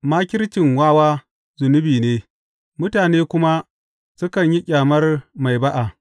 Makircin wawa zunubi ne, mutane kuma sukan yi ƙyamar mai ba’a.